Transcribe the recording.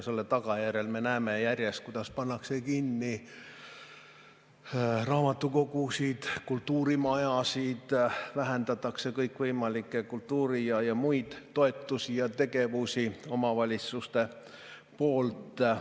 Selle tagajärjel me näeme järjest, kuidas pannakse kinni raamatukogusid, kultuurimajasid, vähendatakse kõikvõimalikke kultuuri- ja muid toetusi ja tegevusi omavalitsuste poolt.